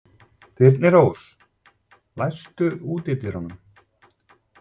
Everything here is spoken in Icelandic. Þyrnirós, læstu útidyrunum.